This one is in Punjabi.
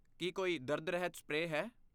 ਕੀ ਕੋਈ ਦਰਦ ਰਹਿਤ ਸਪਰੇਅ ਹੈ?